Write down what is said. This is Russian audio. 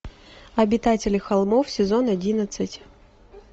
обитатели холмов сезон одиннадцать